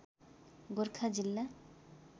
गोरखा जिल्ला